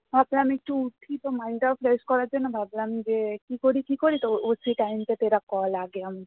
ভাবলাম একটু উঠি তো mind টাও fresh করার জন্য ভাবলাম যে কী করি কী করি তো time call